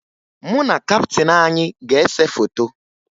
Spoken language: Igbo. Mụ na kaptịn anyị ga-ese foto